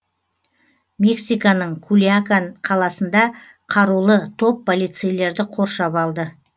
мексиканың кульякан қаласында қарулы топ полицейлерді қоршап алды